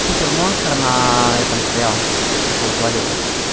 супер монстр на этом стоял как его звали-то